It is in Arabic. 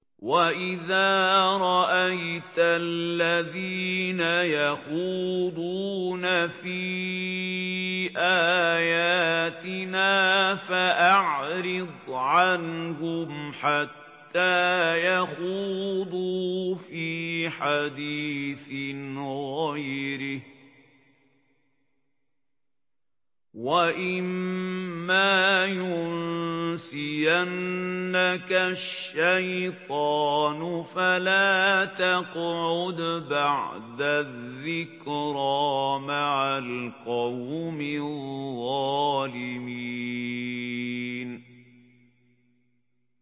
وَإِذَا رَأَيْتَ الَّذِينَ يَخُوضُونَ فِي آيَاتِنَا فَأَعْرِضْ عَنْهُمْ حَتَّىٰ يَخُوضُوا فِي حَدِيثٍ غَيْرِهِ ۚ وَإِمَّا يُنسِيَنَّكَ الشَّيْطَانُ فَلَا تَقْعُدْ بَعْدَ الذِّكْرَىٰ مَعَ الْقَوْمِ الظَّالِمِينَ